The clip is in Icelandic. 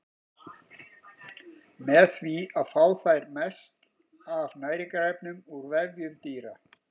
Með því fá þær mest af næringarefnum úr vefjum dýra.